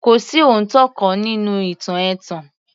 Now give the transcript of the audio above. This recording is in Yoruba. Kò sí òótọ́ kan nínú ìtàn ẹ̀tàn